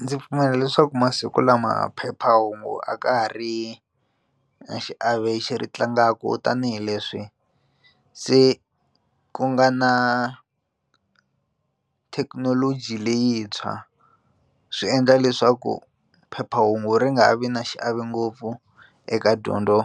Ndzi pfumela leswaku masiku lama phephahungu a ka ha ri na xiave ri tlangaku tanihileswi se ku nga na ku thekinoloji leyintshwa swi endla leswaku phephahungu ri nga ha vi na xiave ngopfu eka dyondzo